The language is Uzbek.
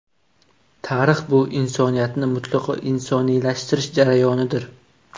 Tarix bu insoniyatni mutlaqo insoniylashtirish jarayonidir.